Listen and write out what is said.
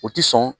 O ti sɔn